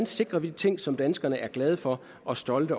sikrer de ting som danskerne er glade for og stolte